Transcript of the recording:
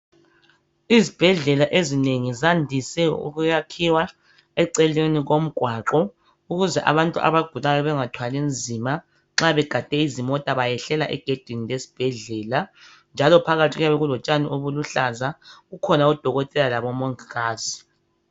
Izibhedlela ezinengi, zandise ukuyakhiwa eceleni komgwaqo. Ukuze abantu abagulayo, bangathwali nzima. Nxa begade izimota, bayehlela egedini lesibhedlela, njalo phakathi kuyabe kulotshani obuluhlaza. Kukhona odokoteka labomongikazi.